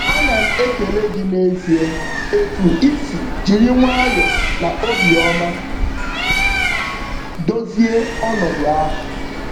Ana m ekele gị n'ezie etu i si jiri nwayọ na obiọma dozie ọnọdụ ahụ